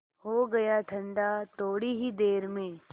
हो गया ठंडा थोडी ही देर में